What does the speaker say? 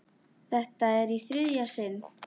Þetta er í þriðja sinn.